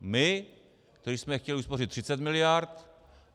My, kteří jsme chtěli uspořit 30 miliard?